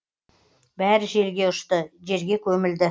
бәрі желге ұшты жерге көмілді